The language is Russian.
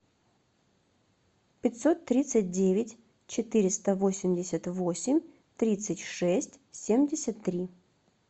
пятьсот тридцать девять четыреста восемьдесят восемь тридцать шесть семьдесят три